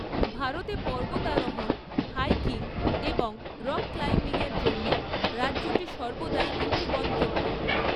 ভারতে পর্বতারোহণ, হাইকিং এবং রক ক্লাইম্বিংয়ের জন্য রাজ্যটি সর্বদাই একটি গন্তব্য।